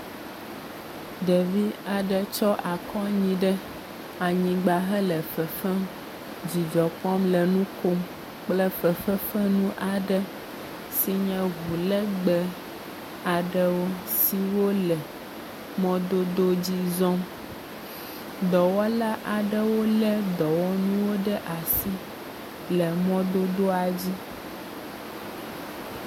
Ɖevi aɖe tsɔ akɔ anyi ɖe anyigba hele fefem dzidzɔkpɔm le nu kom kple fefefenu aɖe si nye ŋu legbẽe aɖewo siwo le mɔdodo dzi zɔm. Dɔwɔla aɖewo lé dɔwɔnuwo ɖe asi le mɔdodoa dzi.